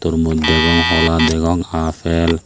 tormoj degong hola degong apple.